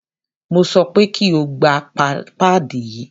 Mo sọ pé kí o gba páàdì yí!